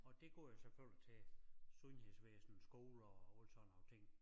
Og det går jo selvfølgelig til sundhedsvæsnet skoler og alle sådan nogle ting